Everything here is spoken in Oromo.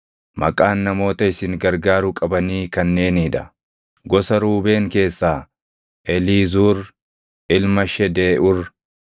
“Maqaan namoota isin gargaaruu qabanii kanneenii dha: “Gosa Ruubeen keessaa Eliizuur ilma Shedeeʼuur;